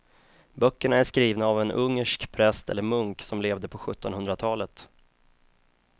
Böckerna är skrivna av en ungersk präst eller munk som levde på sjuttonhundratalet.